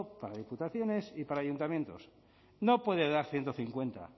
para diputaciones y para ayuntamientos no puede dar ciento cincuenta